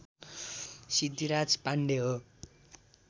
सिद्धिराज पाण्डे हो